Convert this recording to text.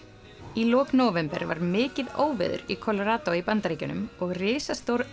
í lok nóvember var mikið óveður í Colorado í Bandaríkjunum og risastór